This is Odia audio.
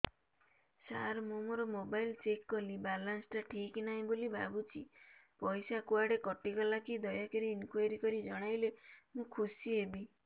ସାର ମୁଁ ମୋର ମୋବାଇଲ ଚେକ କଲି ବାଲାନ୍ସ ଟା ଠିକ ନାହିଁ ବୋଲି ଭାବୁଛି ପଇସା କୁଆଡେ କଟି ଗଲା କି ଦୟାକରି ଇନକ୍ୱାରି କରି ଜଣାଇଲେ ମୁଁ ଖୁସି ହେବି